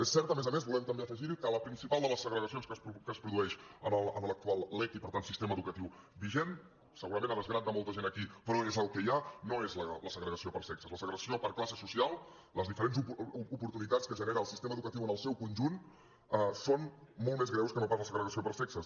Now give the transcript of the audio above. és cert a més a més volem també afegir ho que la principal de les segregacions que es produeix a l’actual lec i per tant sistema educatiu vigent segurament a desgrat de molta gent aquí però és el que hi ha no és la segregació per sexes la segregació per classe social les diferents oportunitats que genera el sistema educatiu en el seu conjunt són molt més greus que no pas la segregació per sexes